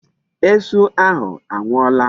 Esu ahụ anwụọla.